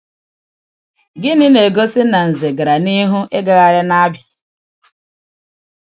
Gịnị na-egosi na Nze gara n’ihu ịgagharị n’Abịa?